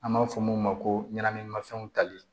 An b'a fɔ mun ma ko ɲɛnaminimafɛnw tali